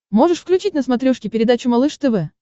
можешь включить на смотрешке передачу малыш тв